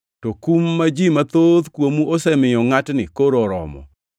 To kum ma ji mathoth kuomu osemiyo ngʼatni koro oromo.